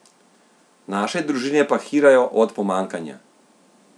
Naše družine pa hirajo od pomanjkanja.